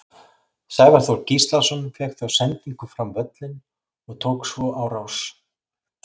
Sævar Þór Gíslason fékk þá sendingu fram völlinn og tók svo á rás.